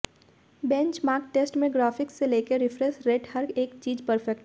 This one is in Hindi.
बेंचमार्क टेस्ट में ग्राफिक्स से लेकर रिफ्रेश रेट हर एक चीज परफेक्ट है